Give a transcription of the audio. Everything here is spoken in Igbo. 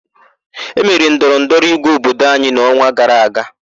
E mere ndọrọ ndọrọ ígwé obodo anyị n'ọnwa gara aga.